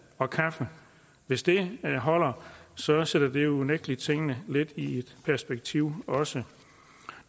og kaffe hvis det holder sætter sætter det jo unægtelig tingene lidt i perspektiv også